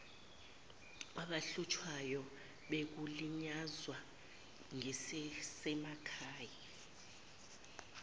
abahlushwayo bekulinyazwa ngezasemakhay